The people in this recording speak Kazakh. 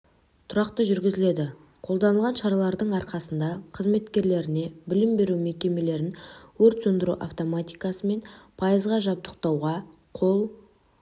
тұрақты жүргізіледі қолданылған шаралардың арқасында қызметкерлеріне білім беру мекемелерін өрт сөндіру автоматикасымен пайызға жабдықтауға қол